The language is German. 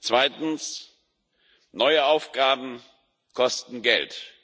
Zweitens Neue Aufgaben kosten Geld.